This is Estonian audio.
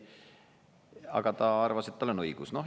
Aga ta arvas, et tal on õigus.